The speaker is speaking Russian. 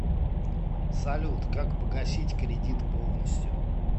салют как погасить кредит полностью